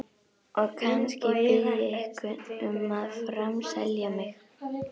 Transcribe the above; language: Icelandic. Og kannski bið ég einhvern um að framselja mig.